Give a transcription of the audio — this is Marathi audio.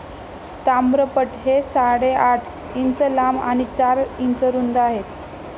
ताम्रपट हे साडेआठ इंच लांब आणि चार इंच रुंद आहेत.